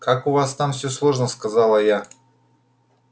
как у вас там все сложно сказала я